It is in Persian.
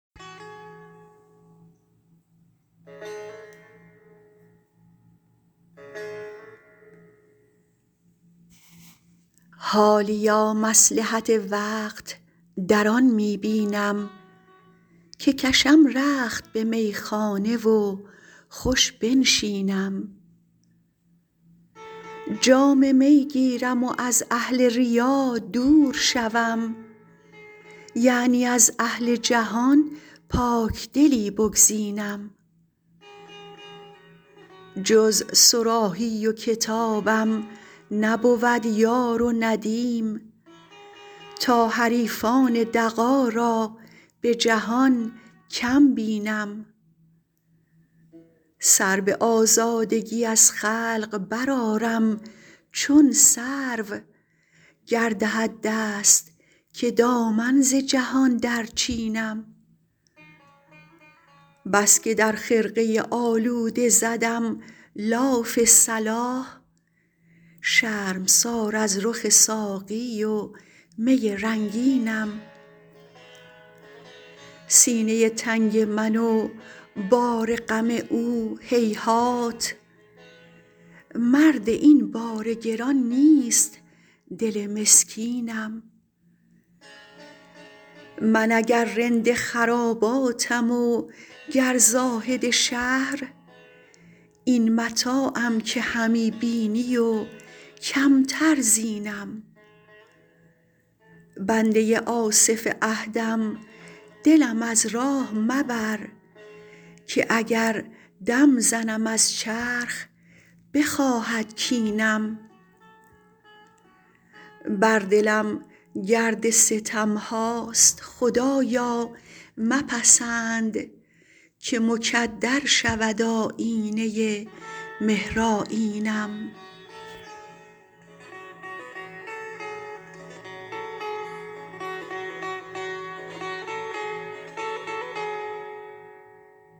حالیا مصلحت وقت در آن می بینم که کشم رخت به میخانه و خوش بنشینم جام می گیرم و از اهل ریا دور شوم یعنی از اهل جهان پاکدلی بگزینم جز صراحی و کتابم نبود یار و ندیم تا حریفان دغا را به جهان کم بینم سر به آزادگی از خلق برآرم چون سرو گر دهد دست که دامن ز جهان درچینم بس که در خرقه آلوده زدم لاف صلاح شرمسار از رخ ساقی و می رنگینم سینه تنگ من و بار غم او هیهات مرد این بار گران نیست دل مسکینم من اگر رند خراباتم و گر زاهد شهر این متاعم که همی بینی و کمتر زینم بنده آصف عهدم دلم از راه مبر که اگر دم زنم از چرخ بخواهد کینم بر دلم گرد ستم هاست خدایا مپسند که مکدر شود آیینه مهرآیینم